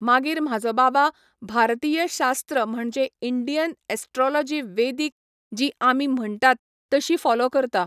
मागीर म्हाजो बाबा भारतीयशास्त्र म्हणजें इंडियन एस्ट्रोलोजी वेदीक जी आमी म्हणटात तशी फॉलो करता.